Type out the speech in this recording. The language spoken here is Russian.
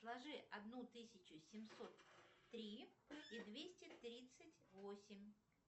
сложи одну тысячу семьсот три и двести тридцать восемь